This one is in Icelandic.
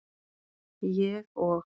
Ég og